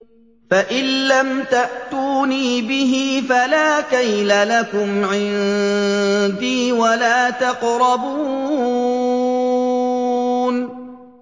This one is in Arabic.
فَإِن لَّمْ تَأْتُونِي بِهِ فَلَا كَيْلَ لَكُمْ عِندِي وَلَا تَقْرَبُونِ